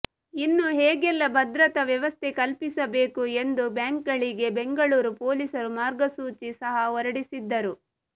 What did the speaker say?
ಇನ್ನು ಹೇಗೆಲ್ಲಾ ಭದ್ರತಾ ವ್ಯವಸ್ಥೆ ಕಲ್ಪಿಸಬೇಕು ಎಂದು ಬ್ಯಾಂಕ್ಗಳಿಗೆ ಬೆಂಗಳೂರು ಪೊಲೀಸರು ಮಾರ್ಗಸೂಚಿ ಸಹ ಹೊರಡಿಸಿದ್ದರು